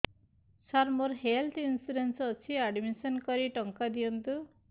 ସାର ମୋର health insurance ଅଛି admission କରି ଟଙ୍କା ଦିଅନ୍ତୁ